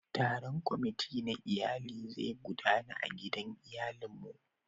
Taron kwamati na iyalin zai gudana a gidan iyalin mu.